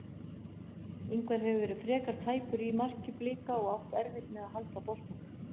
Ingvar hefur verið frekar tæpur í marki Blika og átt erfitt með að halda boltanum.